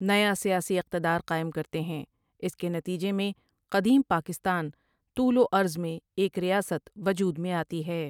نیا سیاسی اقتدار قائم کرتے ہیں اس کے نتیجے میں قدیم پاکستان طول و عرض میں ایک ریاست وجود میں آتی ہے ۔